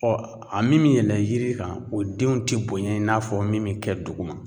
a mi min yɛlɛn yiri kan o denw te boɲɛ i n'a fɔ min me kɛ duguma.